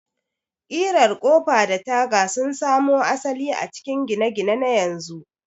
ƙirar Ƙofa da taga sun samo asali a cikin gine-gine na yanzu.